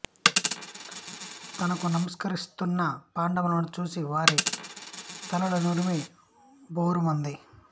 తనకు నమస్కరిస్తున్న పాండవులను చూసి వారి తలలు నిమిరి భోరుమంది